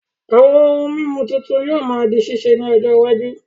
Àwọn ohun mímu tuntun yóò máa di ṣíṣe ní ọjọ iwájú